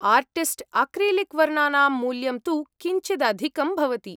Artist acrylic वर्णानां मूल्यं तु किञ्चिदधिकं भवति।